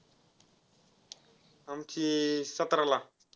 आमची सतरा ला.